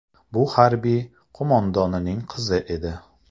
Bu harbiy qo‘mondonning qizi edi.